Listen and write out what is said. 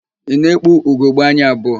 Ị na-ekpu ugogbeanya abụọ?